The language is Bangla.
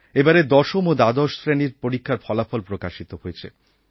এবারের দশম ও দ্বাদশ শ্রেণির পরীক্ষার ফলাফল প্রকাশিত হয়েছে